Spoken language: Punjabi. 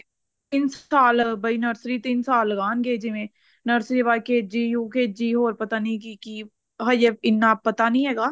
ਤਿੰਨ ਸਾਲ ਬਈ nursery ਤਿੰਨ ਸਾਲ ਲਗਾਂਗੇ ਜਿਵੇਂ nursery ਤੋਂ ਬਾਅਦ KG UKG ਹੋਰ ਪਤਾ ਨੀ ਕੀ ਕੀ ਹਜੇ ਇੰਨਾ ਪਤਾ ਨਹੀਂ ਹੈਗਾ